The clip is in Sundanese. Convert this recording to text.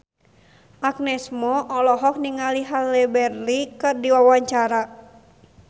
Agnes Mo olohok ningali Halle Berry keur diwawancara